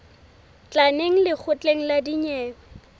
tla neng lekgotleng la dinyewe